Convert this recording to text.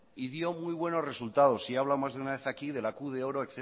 y dio muy buenos resultados y he hablado aquí más de una vez de la q de oro